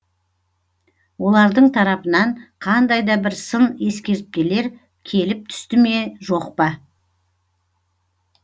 олардың тарапынан қандай да бір сын ескертпелер келіп түсті ме жоқ па